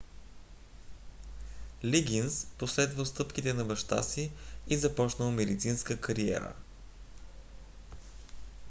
лигинс последвал стъпките на баща си и започнал медицинска кариера